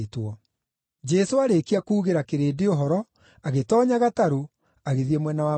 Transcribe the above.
Jesũ aarĩkia kuugĩra kĩrĩndĩ ũhoro, agĩtoonya gatarũ, agĩthiĩ mwena wa Magadani.